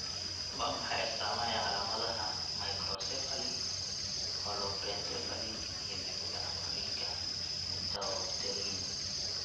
Waa maxay astaamaha iyo calaamadaha Microcephaly, holoprosencephaly, iyo dib u dhac korriinka intrauterine?